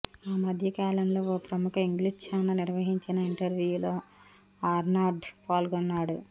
ఆ మధ్య కాలంలో ఓ ప్రముఖ ఇంగ్లీష్ ఛానల్ నిర్వహించిన ఇంటర్వ్యూలో ఆర్నాల్డ్ పాల్గొన్నాడు